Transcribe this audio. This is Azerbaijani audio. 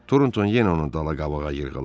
Tornton yenə onu dala-qabağa yırğaladı.